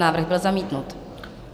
Návrh byl zamítnut.